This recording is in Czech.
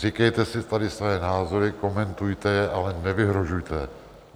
Říkejte si tady své názory, komentujte je, ale nevyhrožujte!